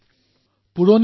বহুত কাম কৰিব পাৰি